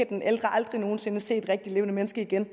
den ældre aldrig nogen sinde skal se et rigtigt levende menneske igen og